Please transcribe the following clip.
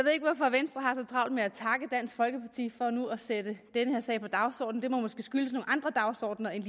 travlt med at takke dansk folkeparti for nu at sætte den her sag på dagsordenen det må måske skyldes nogle andre dagsordener end